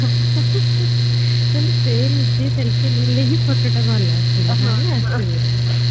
ମାନେ ସେ ନିଜେ selfie ଟା ନେଲେ ହି photo ଟା ଭଲ ଆସିବ ନହଲେ ଆସିବନି